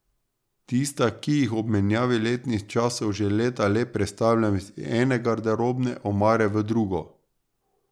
Tista, ki jih ob menjavi letnih časov že leta le prestavljam iz ene garderobne omare v drugo.